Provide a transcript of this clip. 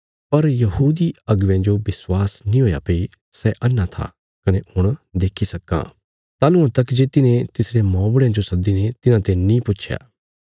पर यहूदी अगुवेयां जो विश्वास नीं हुया भई सै अन्हा था कने हुण देक्खी सक्कां ताहलुआं तक जे तिन्हे तिसरे मौबुढ़यां जो सद्दीने तिन्हांते नीं पुच्छया